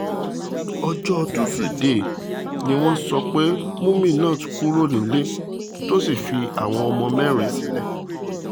ọjọ́ tusidee ni wọ́n sọ pé muminat kúrò nílé tó sì fi àwọn ọmọ mẹ́rin sílẹ̀